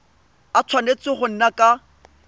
a tshwanetse go nna ka